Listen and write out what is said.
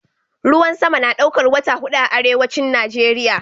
Ruwan sama na daukar wata hudu a Arewacin Nijeriya.